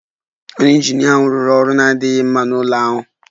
Onye injinia ahụ rụrụ ọrụ na-adịghị mma n'ụlọ ahụ